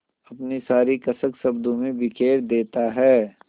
अपनी सारी कसक शब्दों में बिखेर देता है